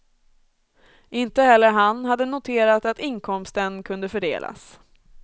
Inte heller han hade noterat att inkomsten kunde fördelas.